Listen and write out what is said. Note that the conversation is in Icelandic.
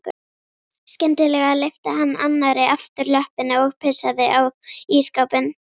Skyndilega lyfti hann annarri afturlöppinni og pissaði á ísskápinn.